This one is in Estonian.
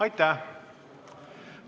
Aitäh!